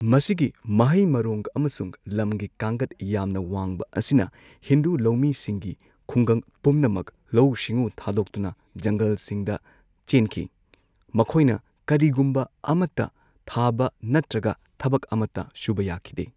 ꯃꯁꯤꯒꯤ ꯃꯍꯩ ꯃꯔꯣꯡ ꯑꯃꯁꯨꯡ ꯂꯝꯒꯤ ꯀꯥꯡꯒꯠ ꯌꯥꯝꯅ ꯋꯥꯡꯕ ꯑꯁꯤꯅ ꯍꯤꯟꯗꯨ ꯂꯧꯃꯤꯁꯤꯡꯒꯤ ꯈꯨꯡꯒꯪ ꯄꯨꯝꯅꯃꯛ ꯂꯧꯎ ꯁꯤꯡꯎ ꯊꯥꯗꯣꯛꯇꯨꯅ ꯖꯪꯒꯜꯁꯤꯡꯗ ꯆꯦꯟꯈꯤ ꯃꯈꯣꯏꯅ ꯀꯔꯤꯒꯨꯝꯕ ꯑꯃꯠꯇ ꯊꯥꯕ ꯅꯠꯇ꯭ꯔꯒ ꯊꯕꯛ ꯑꯃꯠꯇ ꯁꯨꯕ ꯌꯥꯈꯤꯗꯦ꯫